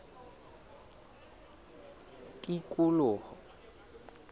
tikoloho